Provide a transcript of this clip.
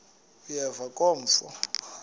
uyeva ke mfo